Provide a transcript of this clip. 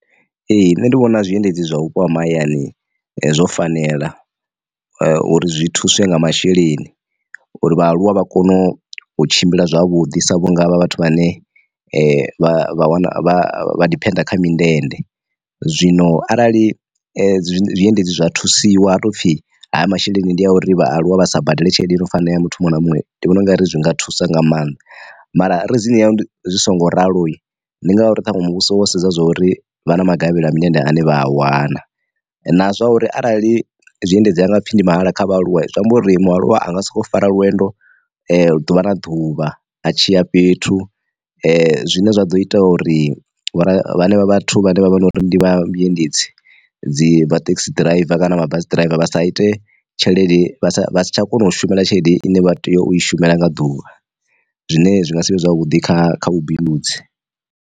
Ee nṋe ndi vhona zwiendedzi zwa vhupo ha mahayani zwo fanela uri zwi thuswe nga masheleni uri vha aluwa vha kone u tshimbila zwavhuḓi sa vhunga havha vhathu vha ne vha wana vha diphenda kha mindende. Zwino arali zwiendedzi zwa thusiwa ha tou pfhi haya masheleni ndi a uri vhaaluwa vha sa badele tshelede i no fanela muthu muṅwe na muṅwe ndi vhona u nga ri zwi nga thusa nga maanḓa. Mara reason ya zwi songo ralo ndi ngauri ṱhaṅwe muvhuso wo sedza zwa uri vha na magavhelo a mindende ane vha a wana, na zwa uri arali zwiendedzi ha nga pfhi ndi mahala kha vhaaluwa zwi amba uri mualuwa anga si khou fara lwendo lu ḓuvha na ḓuvha ha tshiya fhethu zwine zwa ḓo ita uri vhora hanevha vhathu vhane vha vha na uri ndi vha vhu endedzi dzi thekhisi ḓiraiva kana mabasi ḓiraiva vha sa ite tshelede vha si tsha kona u shumela tshelede ine vha tea u shumela nga ḓuvha, zwine zwi nga si vhe zwavhuḓi kha kha vhubindudzi.